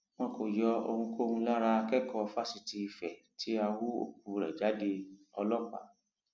wọn kò yọ ohunkóhun lára akẹkọọ fásitì ife tí a hú òkú rẹ jádeọlọpàá